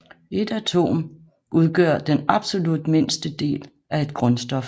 Et atom udgør den absolut mindste del af et grundstof